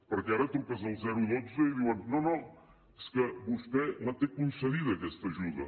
perquè ara truques al dotze i diuen no no és que vostè la té concedida aquesta ajuda